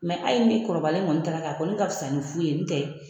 hali n'i kɔrɔlen kɔni taara kɛ a kɔni ka fisa ni fu ye n'u tɛ